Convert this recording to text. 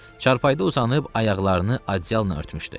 Çarpayıda uzanıb ayaqlarını adyalına bükmüşdü.